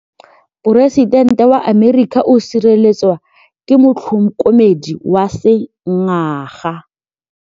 Poresitêntê wa Amerika o sireletswa ke motlhokomedi wa sengaga.